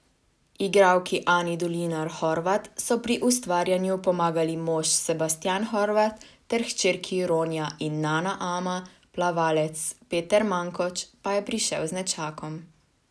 Igralki Ani Dolinar Horvat so pri ustvarjanju pomagali mož Sebastijan Horvat ter hčerki Ronja in Nana Ama, plavalec Peter Mankoč pa je prišel z nečakom.